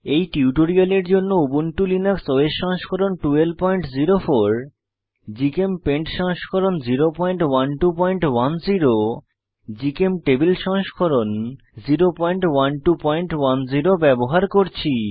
এই টিউটোরিয়ালের জন্য উবুন্টু লিনাক্স ওএস সংস্করণ 1204 জিচেমপেইন্ট সংস্করণ 01210 এবং জিচেমটেবল সংস্করণ 01210 ব্যবহার করছি